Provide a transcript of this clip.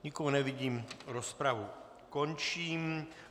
Nikoho nevidím, rozpravu končím.